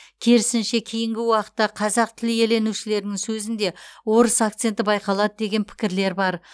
керісінше кейінгі уақытта қазақ тіл иеленушілерінің сөзінде орыс акценті байқалады деген пікірлер бар